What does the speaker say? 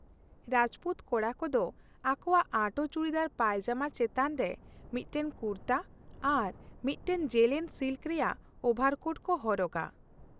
ᱨᱟᱡᱯᱩᱛ ᱠᱚᱲᱟ ᱠᱚᱫᱚ ᱟᱠᱳᱣᱟᱜ ᱟᱸᱴᱳ ᱪᱩᱲᱤᱫᱟᱨ ᱯᱟᱭᱡᱟᱢᱟ ᱪᱮᱛᱟᱱ ᱨᱮ ᱢᱤᱫᱴᱟᱝ ᱠᱩᱨᱛᱟᱹ ᱟᱨ ᱢᱤᱫᱴᱟᱝ ᱡᱮᱞᱮᱧ ᱥᱤᱞᱠ ᱨᱮᱭᱟᱜ ᱳᱵᱷᱟᱨᱠᱳᱴ ᱠᱚ ᱦᱚᱨᱚᱜᱟ ᱾